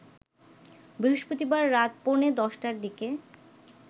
বৃহস্পতিবার রাত পৌনে ১০টার দিকে